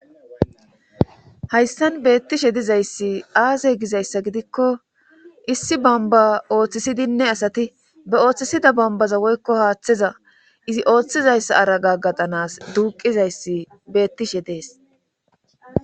hayssan beettishe dizayssi aze gizayssa gidikko issi bamba ooththisidinne asati be ooththisida bambaza woykko haaththeza izi ooththizayssa araga gatanas duuqizayssi beettishe dees